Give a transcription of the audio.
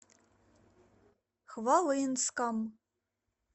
хвалынском